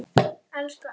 Alla samveru með þér.